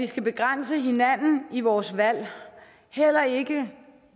skal begrænse hinanden i vores valg heller ikke